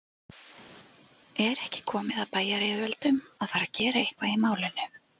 Er ekki komið að bæjaryfirvöldum að fara gera eitthvað í málinu?